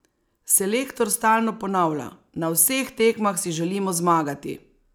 Selektor stalno ponavlja: "Na vseh tekmah si želimo zmagati.